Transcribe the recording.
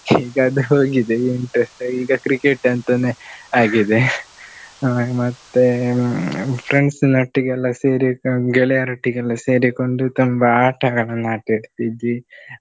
ಈಗ ಅದು ಹೋಗಿದೆ interest ಈಗ cricket ಅಂತನೇ ಆಗಿದೆ. ಮ~ ಮತ್ತೆ ಹ್ಮ್ friends ನೊಟ್ಟಿಗೆಲ್ಲಾ ಸೇರಿಕೊಂಡ್ ಗೆಳೆಯರೊಟ್ಟಿಗೆಲ್ಲಾ ಸೇರಿಕೊಂಡು ತುಂಬಾ ಆಟಗಳನ್ನು ಆಟ ಆಡ್ತಿದ್ವಿ.